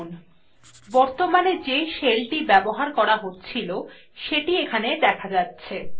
বর্তমানে যে shellthe ব্যবহার করা হচ্ছিল সেটি এখানে দেখা যাচ্ছে